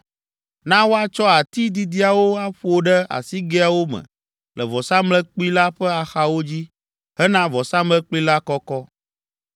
Na woatsɔ ati didiawo aƒo ɖe asigɛawo me le vɔsamlekpui la ƒe axawo dzi hena vɔsamlekpui la kɔkɔ.